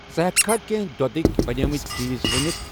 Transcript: ژٕ ہیٚٚکھا کینٛہہ دۄدٕکؠ بَنیمٕتؠ چیٖز ؤنِتھ؟